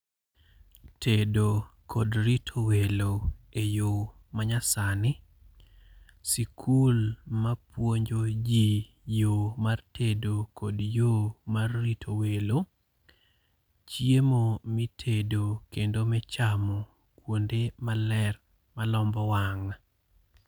Tedo kod rito welo eyo manyasani. Sikul mapuonjo ji yo mar tedo kod yo mar rito welo. Chiemo mitedo kendo michamo kuonde maler malombo wang'.